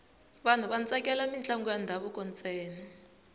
vanhu va tsakela mintlangu ya ndhavuko ntsena